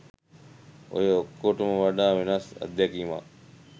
ඔය ඔක්කොටම වඩා වෙනස් අත්දැකීමක්